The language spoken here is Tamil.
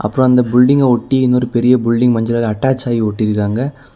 அப்புறம் அந்த பில்டிங்க ஒட்டி இன்னொரு பெரிய பில்டிங் மஞ்ச கலர்ல அட்டாச் ஆகி ஒட்டிருக்காங்க.